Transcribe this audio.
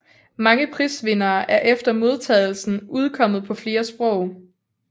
Mange prisvinderne er efter modtagelsen udkommet på flere sprog